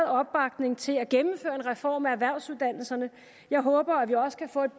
opbakning til at gennemføre en reform af erhvervsuddannelserne jeg håber at vi også kan få et